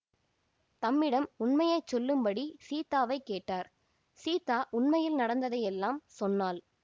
தம்மிடம் உண்மையை சொல்லும்படி சீத்தாவைக் கேட்டார் சீத்தா உண்மையில் நடந்ததையெல்லாம் சொன்னாள்